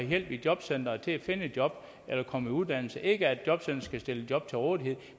hjælp i jobcenteret til at finde et job eller komme i uddannelse ikke at jobcenteret skulle stille job til rådighed